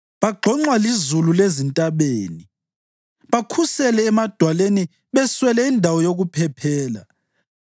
Bagxonxwa lizulu lezintabeni bakhusele emadwaleni beswele indawo yokuphephela.